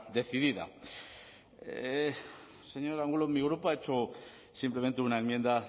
decidida señor angulo mi grupo ha hecho simplemente una enmienda